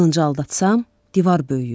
Qılıncı aldatssam, divar böyüyür.